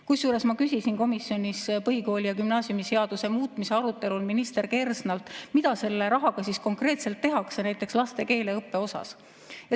Kusjuures ma küsisin komisjonis põhikooli‑ ja gümnaasiumiseaduse muutmise arutelul minister Kersnalt, mida selle rahaga konkreetselt tehakse, näiteks laste keeleõppes.